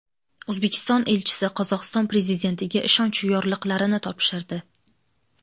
O‘zbekiston elchisi Qozog‘iston prezidentiga ishonch yorliqlarini topshirdi.